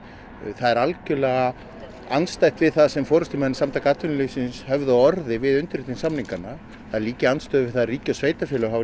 það er algjörlega andstætt við það sem forystumenn Samtaka atvinnulífsins höfðu á orði við undirritun samninganna það er líka í andstöðu við það að ríki og sveitarfélög hafa